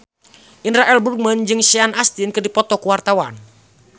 Indra L. Bruggman jeung Sean Astin keur dipoto ku wartawan